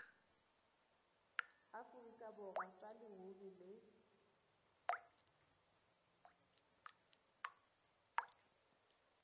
aforika borwa sa leruri le